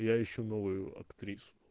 я ищу новую актрису